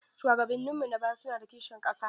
Shuwagabanninmu na baya suna da kishin ƙasa.